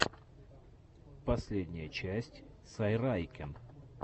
последняя часть сайрайкен